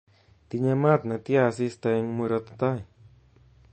Tinye maat netya asista eng murot tai